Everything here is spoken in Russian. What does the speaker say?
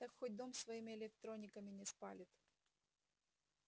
так хоть дом своими электрониками не спалит